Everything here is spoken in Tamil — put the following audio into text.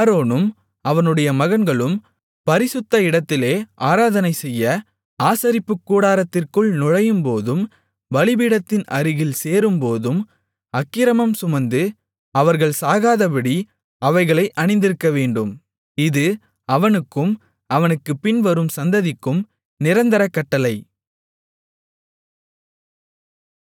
ஆரோனும் அவனுடைய மகன்களும் பரிசுத்த இடத்திலே ஆராதனைசெய்ய ஆசரிப்புக்கூடாரத்திற்குள் நுழையும்போதும் பலிபீடத்தின் அருகில் சேரும்போதும் அக்கிரமம் சுமந்து அவர்கள் சாகாதபடி அவைகளை அணிந்திருக்கவேண்டும் இது அவனுக்கும் அவனுக்குப் பின்வரும் சந்ததிக்கும் நிரந்தர கட்டளை